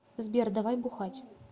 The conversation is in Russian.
сбер давай бухать